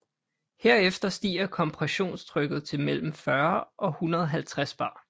Herefter stiger kompressionstrykket til mellem 40 og 150 bar